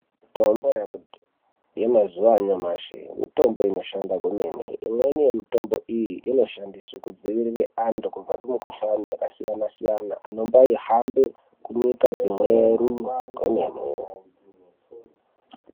Mitombo yemazuwa anyamashi mitombo inoshanda kwemene imweni yemitombo iyi inoshandiswa kudzivirira andu kubva kumukuhlani yakasiyana siyana anombayihambe kunyika dzimweru kwemene.